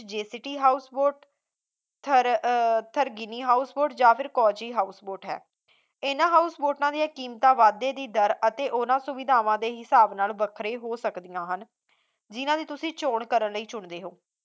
ਜੇ city house boat ਠਰ` ਅਹ ਠਰਕੀਨੀ house boat ਜਾਂ ਫੇਰ ਕੋਚੀ house boat ਹੈ ਇਨ੍ਹਾਂ ਹਾਊਸ ਬੋਟਾਂ ਦੀਆਂ ਕੀਮਤਾਂ ਵਾਧੇ ਦੀ ਦਰ ਅਤੇ ਉਨ੍ਹਾਂ ਸੁਵਿਧਾਵਾਂ ਦੇ ਹਿਸਾਬ ਨਾਲ ਵੱਖਰੇ ਹੋ ਸਕਦੀਆਂ ਹਨ ਜਿਨ੍ਹਾਂ ਨੂੰ ਤੁਸੀਂ ਚੋਣ ਕਰਨ ਲਈ ਚੁਣਦੇ ਹੋ